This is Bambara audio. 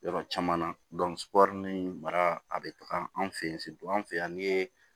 Yɔrɔ caman na mara a bɛ taga an fɛ yen an fɛ yan ni ye